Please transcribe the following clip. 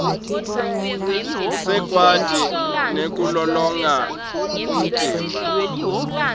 sikwati nekulolonga umtimba